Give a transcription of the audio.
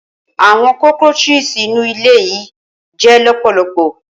Awọn cockroaches inu ile yii jẹ lọpọlọpọ.